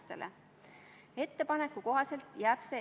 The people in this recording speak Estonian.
Hea ettekandja!